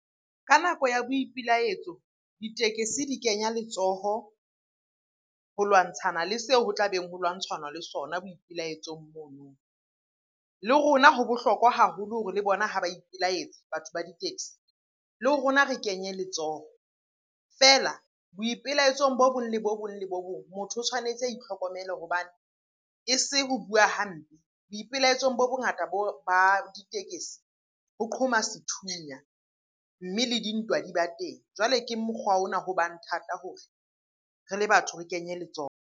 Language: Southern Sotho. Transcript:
Ka nako ya boipilaetso, ditekesi di kenya letsoho ho lwantshana le seo ho tlabeng ho lwantshana le sona boipelaetsong mono. Le rona ho bohlokwa haholo hore le bona ha ba ipilaetsa batho ba di-taxi, le rona re kenye letsoho. Feela boipelaetsong bo bong, le bo bong, le bo bong. Motho o tshwanetse a itlhokomele hobane e se ho bua hampe, boipelaetsong bo bongata ba ditekesi ho qhoma sethunya mme le dintwa di ba teng. Jwale ke mokgwa ona ho bang thata hore re le batho re kenye letsoho.